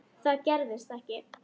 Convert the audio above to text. Það gerðist ekki.